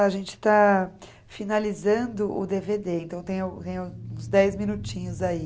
A gente está finalizando o dê vê dê, então tem uns dez minutinhos aí.